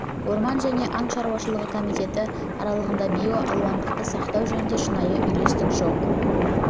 орман және аң шаруашылығы комитеті мен аралығында биоалуандылықты сақтау жөнінде шынайы үйлестік жоқ